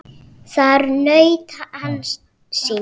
Þar naut hann sín.